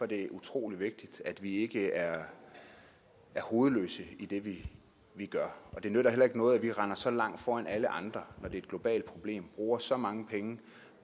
det utrolig vigtigt at vi ikke er hovedløse i det vi gør det nytter heller ikke noget at vi render så langt foran alle andre når det er et globalt problem bruger så mange penge